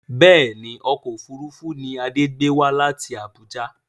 Bẹ́ẹ̀ni ọkọ̀ òfuurufú ni Adé gbé wá láti Abuja